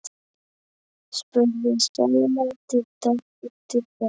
spurði Sóla eftir dálitla þögn.